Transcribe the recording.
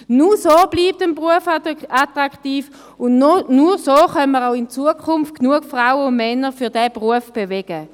Nur so bleibt ein Beruf attraktiv, und nur so können wir in Zukunft auch mehr Frauen und Männer für diesen Beruf mobilisieren.